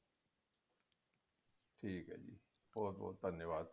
ਠੀਕ ਹੈ ਜੀ ਬਹੁਤ ਬਹੁਤ ਧੰਨਵਾਦ